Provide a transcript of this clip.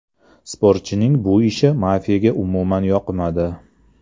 Sportchining bu ishi mafiyaga umuman yoqmadi.